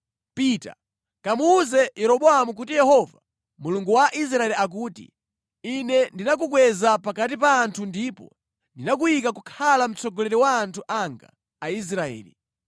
Pita, kamuwuze Yeroboamu kuti Yehova Mulungu wa Israeli akuti, ‘Ine ndinakukweza pakati pa anthu ndipo ndinakuyika kukhala mtsogoleri wa anthu anga Aisraeli.